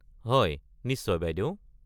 হয়, নিশ্চয় বাইদেউ